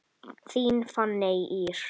Þín Fanney Ýr.